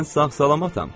Mən sağ-salamatam.